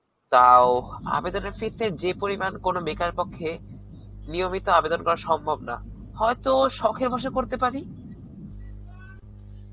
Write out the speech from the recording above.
তাও, আবেদনের fees এর যেপরিমান কোনো বেকার পক্ষে, নিয়মিত কোনো আবেদন করা সম্ভব নয়. হয়তো শখে বশে করতে পারি.